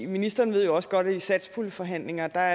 ministeren ved også godt at i satspuljeforhandlingerne var